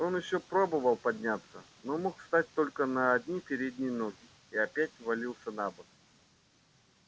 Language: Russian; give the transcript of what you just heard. он ещё пробовал подняться но мог встать только на одни передние ноги и опять валился на бок